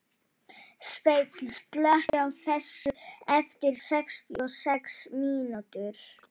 Sveinn, slökktu á þessu eftir sextíu og sex mínútur.